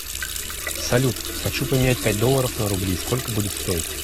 салют хочу поменять пять долларов на рубли сколько будет стоить